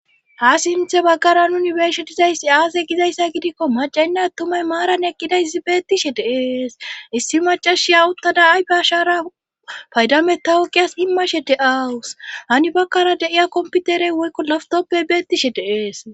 ha simthe baggara nuni beshetizayssi aasey gizayssa gidikko macaynna tumay maaran eqqida izibeettishe deees issi macashi yawuttada ay ba shara paydame tawuqiyas himmashe de7awus hani bakkara deiya komputerey woykko laftoppe beettishe deees